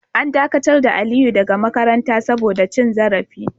An dakatar da Aliyu daga makaranta saboda cin zarafi.